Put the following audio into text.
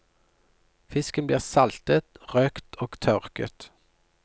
Fisken blir saltet, røkt og tørket.